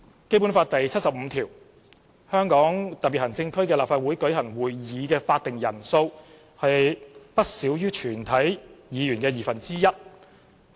《基本法》第七十五條訂明：香港特別行政區立法會舉行會議的法定人數為不少於全體議員的二分之一。